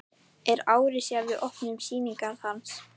Er ári síðar við opnun sýningar hans.